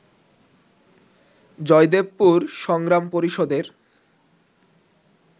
জয়দেবপুর সংগ্রাম পরিষদের